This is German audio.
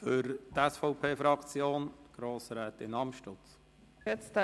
Für die SVP-Fraktion hat Grossrätin Amstutz das